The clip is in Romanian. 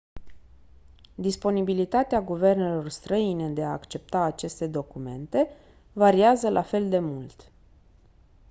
disponibilitatea guvernelor străine de a accepta aceste documente variază la fel de mult